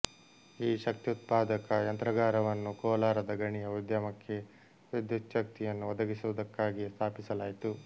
ಈ ಶಕ್ತ್ಯುತ್ಪಾದಕ ಯಂತ್ರಾಗಾರವನ್ನು ಕೋಲಾರದ ಗಣಿಯ ಉದ್ಯಮಕ್ಕೆ ವಿದ್ಯುಚ್ಛಕ್ತಿಯನ್ನು ಒದಗಿಸುವುದಕ್ಕಾಗಿಯೇ ಸ್ಥಾಪಿಸಲಾಯಿತು